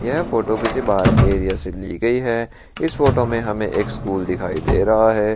यह फोटो किसी बार की एरिया से ली गई है इस फोटो में हमें एक स्कूल दिखाई दे रहा है।